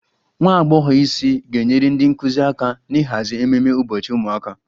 Nwa agbọghọ isi ga-enyere ndị nkụzi aka n'ịhazi ememe ụbọchị ụmụaka